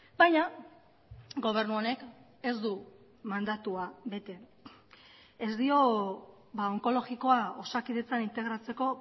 baina gobernu honek ez du mandatua bete ez dio onkologikoa osakidetzan integratzeko